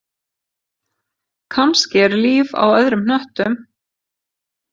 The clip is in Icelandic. Kannski er líf á öðrum hnöttum.